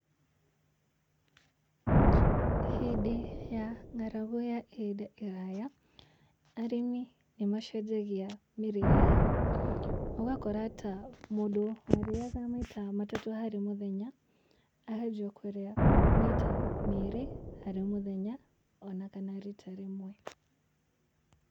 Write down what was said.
Hĩndĩ ya ng'aragu ya ihinda iraya arĩmi nĩ macenjagia mĩrĩre yao. Ũgakora mũndũ ta warĩaga maita matatũ harĩ mũthenya aranjia kũrĩa maita merĩ harĩ mũthenya ona kana rita rĩmwe.